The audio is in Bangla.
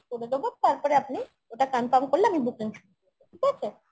করে দেবো তারপরে আপনি ওটা confirm করলে আমি booking শুরু করবো ঠিক আছে?